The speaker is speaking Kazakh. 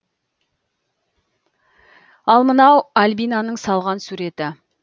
ал мынау альбинаның салған суреті